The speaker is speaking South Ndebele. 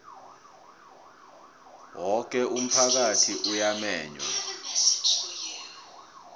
woke umphakathi uyamenywa